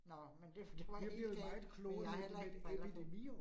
Nåh men det for det var helt galt, men jeg har heller ikke briller på